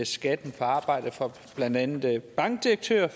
skatten på arbejde for blandt andet bankdirektører jeg